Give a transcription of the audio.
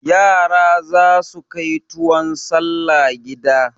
Yara za su kai tuwon salla gida.